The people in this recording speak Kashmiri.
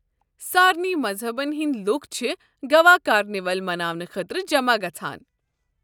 سارِنٕے مذہبَن ہٕنٛدِ لوٗکھ چھِ گوا کارنیول مناونہٕ خٲطرٕ جمع گژھان۔